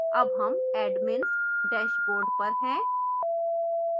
अब हम admins dashboard पर हैं